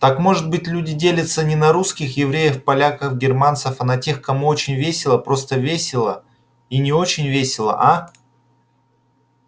так может быть люди делятся не на русских евреев поляков германцев а на тех кому очень весело просто весело и не очень весело а